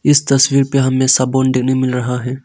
इस तस्वीर पे हमे सब बुंदेली मिल रहा है।